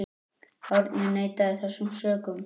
Árni neitaði þessum sökum.